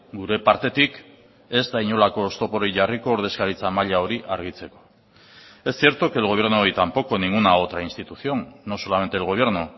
gure partetik ez da inolako oztoporik jarriko ordezkaritza maila hori argitzeko es cierto que el gobierno y tampoco ninguna otra institución no solamente el gobierno